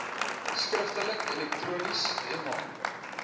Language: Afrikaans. skriftelik elektronies mh